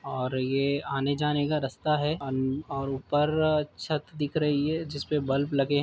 और ये आने-जाने का रास्ता है औ और ऊपर छत दिख रही है। जिस पे बल्ब लगे --